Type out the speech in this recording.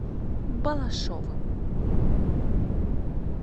балашовым